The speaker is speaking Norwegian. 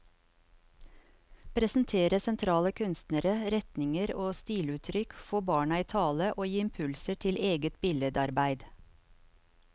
Presentere sentrale kunstnere, retninger og stiluttrykk, få barna i tale og gi impulser til eget billedarbeid.